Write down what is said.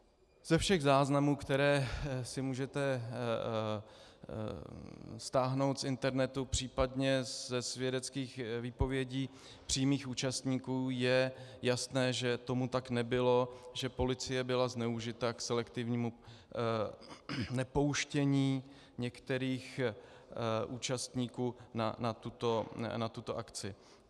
Ze všech záznamů, které si můžete stáhnout z internetu, případně ze svědeckých výpovědí přímých účastníků, je jasné, že tomu tak nebylo, že policie byla zneužita k selektivnímu nepouštění některých účastníků na tuto akci.